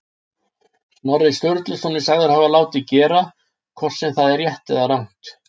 Snorri Sturluson er sagður hafa látið gera, hvort sem það er rétt eða rangt.